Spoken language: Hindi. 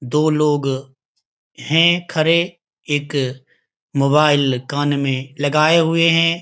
दो लोग हैं खड़े एक मोबाइल कान में लगाए हुए है।